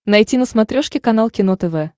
найти на смотрешке канал кино тв